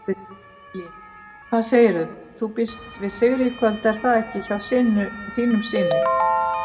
Lillý: Hvað segirðu, þú býst við sigri í kvöld er það ekki hjá þínum syni?